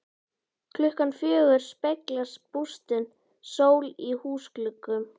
Klukkan fjögur speglast bústin sól í húsgluggum.